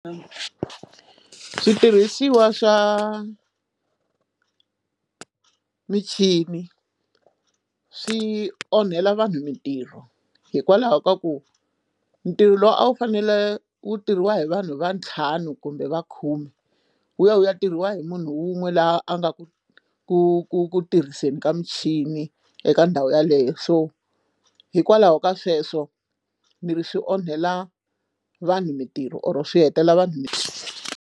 Switirhisiwa swa michini swi onhela vanhu mintirho hikwalaho ka ku ntirho lowu a wu fanele wu tirhiwa hi vanhu va ntlhanu kumbe va khume wu ya wu ya tirhiwa hi munhu wun'we laha a nga ku ku ku ku tirhiseni ka michini eka ndhawu yeleyo so hikwalaho ka sweswo ni ri swi onhela vanhu mintirho or swi hetelela vanhu.